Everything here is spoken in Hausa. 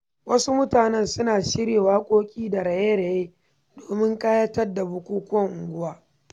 Wasu mutane suna shirya waƙoƙi da raye-raye domin ƙayatar da bukukuwan unguwa.